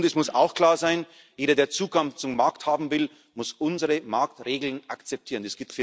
ist. Und es muss auch klar sein Jeder, der Zugang zum Markt haben will, muss unsere Marktregeln akzeptieren.